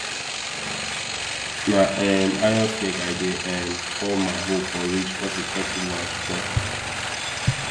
na um iron snake i dey um call ma hoe for ridge cos e flexible and strong